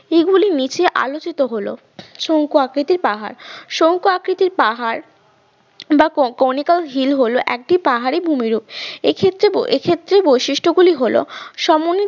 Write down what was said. নীচে আলোচিত হলো শঙ্কু আকৃতির পাহাড় শঙ্কু আকৃতির পাহাড় বা কনিকল হিল হল একটি পাহাড়ি ভূমিরূপ এক্ষেত্রে এক্ষেত্রে বৈশিষ্ট্য গুলি হল